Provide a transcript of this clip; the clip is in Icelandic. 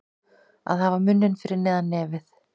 Að hafa munninn fyrir neðan nefið